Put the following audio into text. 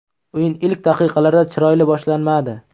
O‘yin ilk daqiqalarda chiroyli boshlanmadi.